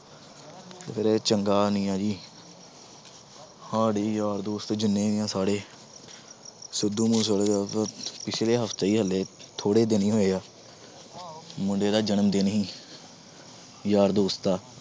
ਤੇ ਫਿਰ ਇਹ ਚੰਗਾ ਨੀ ਹੈ ਜੀ ਸਾਡੇ ਯਾਰ ਦੋਸਤ ਜਿੰਨੇ ਵੀ ਹੈ ਸਾਰੇ ਸਿੱਧੂ ਮੂਸੇਵਾਲੇ ਪਿੱਛਲੇ ਹਫ਼ਤੇ ਹੀ ਹਾਲੇ ਥੋੜ੍ਹੇ ਦਿਨ ਹੀ ਹੋਏ ਆ ਮੁੰਡੇ ਦਾ ਜਨਮ ਦਿਨ ਸੀ ਯਾਰ ਦੋਸਤ ਦਾ।